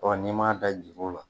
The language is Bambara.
n'i m'a da juru la